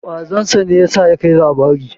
Ƙwazon sa ne ya sa ya kai labari.